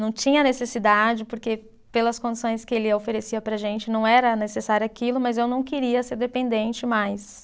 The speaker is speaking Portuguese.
Não tinha necessidade porque, pelas condições que ele oferecia para a gente, não era necessário aquilo, mas eu não queria ser dependente mais.